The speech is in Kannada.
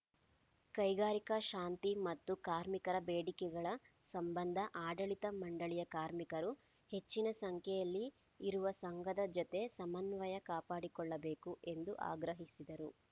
ಕೈಗಾರಿಕಾ ಶಾಂತಿ ಮತ್ತು ಕಾರ್ಮಿಕರ ಬೇಡಿಕೆಗಳ ಸಂಬಂಧ ಆಡಳಿತ ಮಂಡಳಿಯ ಕಾರ್ಮಿಕರು ಹೆಚ್ಚಿನ ಸಂಖ್ಯೆಯಲ್ಲಿ ಇರುವ ಸಂಘದ ಜತೆ ಸಮನ್ವಯ ಕಾಪಾಡಿಕೊಳ್ಳಬೇಕು ಎಂದು ಆಗ್ರಹಿಸಿದರು